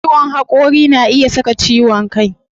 Ciwon hakuri na iya saka ciwon kai